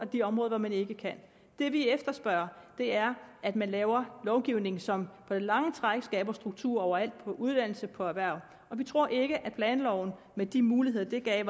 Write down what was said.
de områder hvor man ikke kan det vi efterspørger er at man laver lovgivning som på det lange træk skaber struktur overalt på uddannelse og på erhverv og vi tror ikke at planloven med de muligheder den giver er